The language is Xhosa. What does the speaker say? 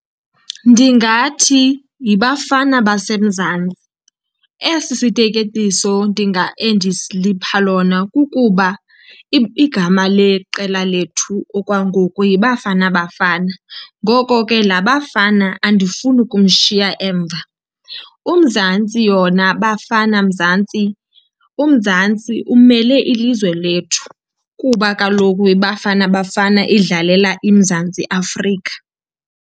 Ndingathi yiBafana baseMzantsi. Esi siteketiso lona kukuba igama leqela lethu okwangoku yiBafana Bafana, ngoko ke laa Bafana andifuni kumshiya emva. UMzantsi yona, Bafana Mzantsi, uMzantsi umele ilizwe lethu, kuba kaloku iBafana Bafana idlalela iMzantsi Afrika.